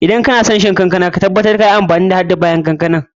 Idan kana son ka sha kankana, ka tabbatar ka yi amfani hadda ƴaƴan da bayan.